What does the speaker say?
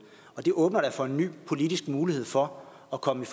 det åbner da for en ny politisk mulighed for at komme